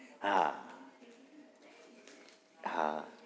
હા હા